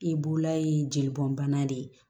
I bula ye jeli bɔn bana de ye